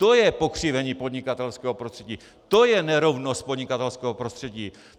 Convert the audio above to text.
To je pokřivení podnikatelského prostředí, to je nerovnost podnikatelského prostředí.